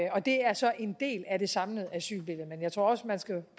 det er så en del af det samlede asylbillede men jeg tror også man skal